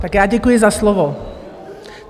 Tak já děkuji za slovo.